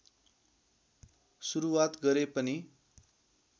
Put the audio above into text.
सुरुवात गरे पनि